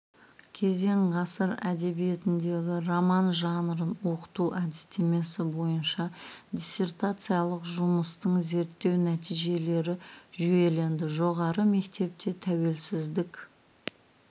кезең ғасыр әдебиетіндегі роман жанрын оқыту әдістемесі бойынша диссертациялық жұмыстың зерттеу нәтижелері жүйеленді жоғары мектепте тәуелсіздік